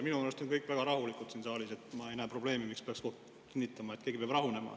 Minu arust on kõik väga rahulikud siin saalis, ma ei näe probleemi, ei saa aru, miks peaks kinnitama, nagu keegi peaks rahunema.